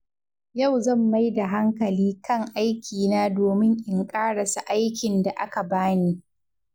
Yau zan mai da hankali kan aikina domin in ƙarasa aikin da aka bani.